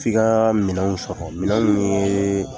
F'i kaa minɛnw sɔrɔ, minɛw ye